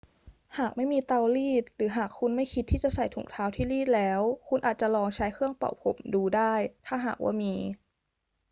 หากไม่มีเตารีด หรือหากคุณไม่คิดที่จะใส่ถุงเท้าที่รีดแล้ว คุณอาจจะลองใช้เครื่องเป่าผมดูได้ ถ้าหากว่ามี